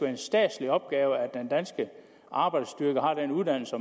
en statslig opgave at den danske arbejdsstyrke har den uddannelse